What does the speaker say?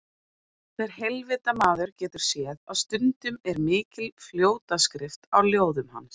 Hver heilvita maður getur séð að stundum er mikil fljótaskrift á ljóðum hans.